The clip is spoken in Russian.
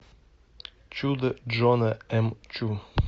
чудо джона м чу